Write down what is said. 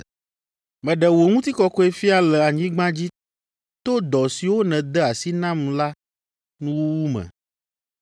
Meɖe wò Ŋutikɔkɔe fia le anyigba dzi to dɔ siwo nède asi nam la nuwuwu me.